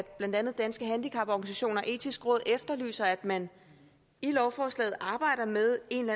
blandt andet danske handicaporganisationer etiske råd efterlyser at man i lovforslaget arbejder med en